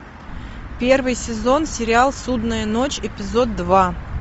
первый сезон сериал судная ночь эпизод два